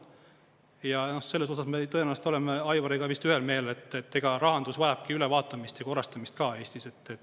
Ja selles osas me tõenäoliselt oleme Aivariga vist ühel meelel, et rahandus vajab ülevaatamist ja korrastamist ka Eestis.